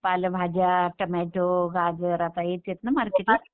पालेभाज्या, टोमॅटो, गाजर आता हेच आहेत ना मार्केटला?